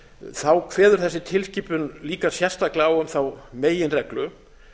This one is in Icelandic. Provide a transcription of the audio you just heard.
þá kveður þessi tilskipunin líka sérstaklega á um þá meginreglu